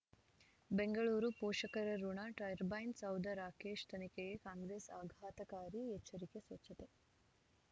ಬೆಂಗಳೂರು ಪೋಷಕರಋಣ ಟರ್ಬೈನ್ ಸೌಧ ರಾಕೇಶ್ ತನಿಖೆಗೆ ಕಾಂಗ್ರೆಸ್ ಆಘಾತಕಾರಿ ಎಚ್ಚರಿಕೆ ಸ್ವಚ್ಛತೆ